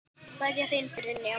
Kveðja, þín Brynja.